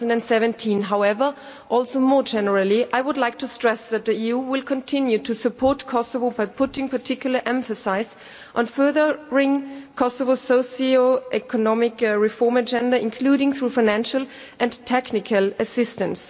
2017. However, also more generally, I would like to stress that the EU will continue to support Kosovo by putting particular emphasis on furthering Kosovo's socio economic reform agenda, including through financial and technical assistance.